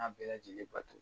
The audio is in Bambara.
bɛɛ lajɛlen bato.